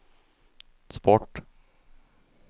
sport